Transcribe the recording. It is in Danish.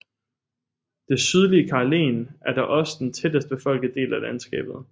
Det sydlige Karelen er da også den tættest befolkede del af landskabet